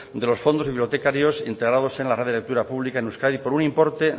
de los fondos bibliotecarios integrados el red de lectura pública en euskadi por un importe